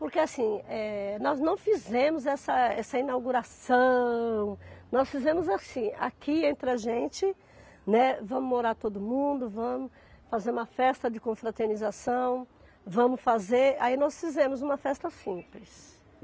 Porque assim, eh, nós não fizemos essa essa inauguração, nós fizemos assim, aqui entre a gente, né, vamos morar todo mundo, vamos fazer uma festa de confraternização, vamos fazer, aí nós fizemos uma festa simples.